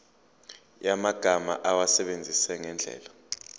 yamagama awasebenzise ngendlela